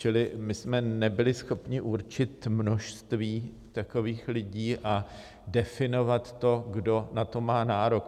Čili my jsme nebyli schopni určit množství takových lidí a definovat to, kdo na to má nárok.